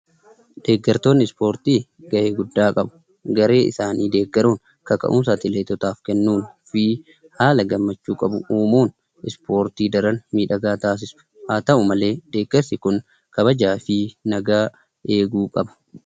Deeggartoonni ispoortii gahee guddaa qabu. garee isaanii deggaruun kaka'umsa atileetotaa kennuu fi haala gammachuu qabu uumuun isportii daraan midhagaa taassisu. Haa ta'u malee deeggarsi kun kabajaa fi nagaa eeguu qaba.